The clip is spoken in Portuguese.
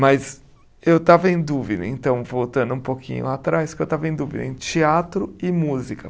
Mas eu estava em dúvida, então voltando um pouquinho atrás, que eu estava em dúvida em teatro e música.